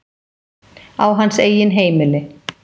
Á hans eigin heimili.